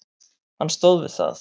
Hann stóð við það.